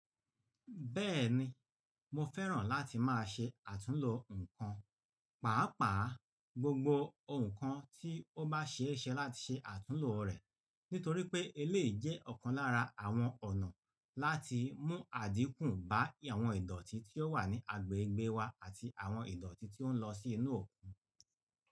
Bẹ́ẹ̀ni, mo fẹ́ràn láti máa ṣe àtúnlo nǹkan, pàápàá gbogbo nǹkan tí ó bá ṣe é ṣe láti ṣe àtúnlo rẹ̀. Nítorí pé eléyìí jẹ́ ọ̀kan lára àwọn ọ̀nà láti mú àdínkù bá àwọn ìdọ̀tí tí ó wà ní agbègbè wa àti àwọn ìdọ̀tí tí ó ń lọ sí inú òkun.